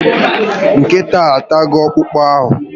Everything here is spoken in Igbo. Nkịta ahụ atago okpụkpụ ahụ